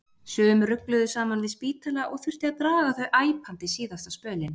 Sum rugluðu saman við spítala og þurfti að draga þau æpandi síðasta spölinn.